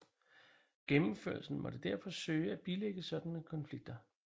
Gennemførelsen måtte derfor søge at bilægge sådanne konflikter